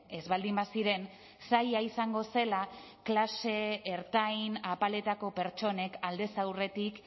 ez baldin baziren zaila izango zela klase ertain apaletako pertsonek aldez aurretik